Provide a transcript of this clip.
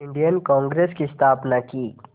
Indian Congress की स्थापना की